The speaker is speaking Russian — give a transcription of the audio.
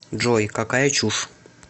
джой какая чушь